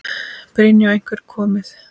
Brynja: Og einhver komið?